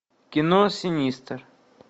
кино синистер